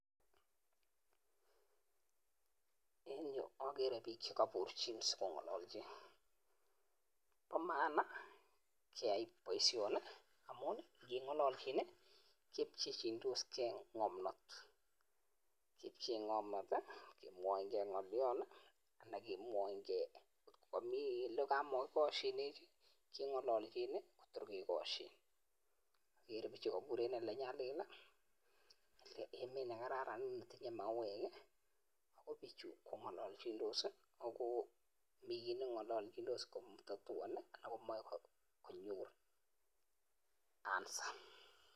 En yu akere pik chekaburchin sikong'alalchin, pa maana keyai baishoni amun ngeng'alalchin kipchechindoske ng'amnat , kemwainke ng'alyon , anan kemwayinke kot kamii olemakikashinen king'alalchin kotor kekashin, ikere pichu kabur en elenyalil emet nekeraran netinye mauek , pichu kong'alachindos ako mi ki nengalaldos katatuani komae konyor answer.